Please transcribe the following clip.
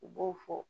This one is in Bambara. U b'o fɔ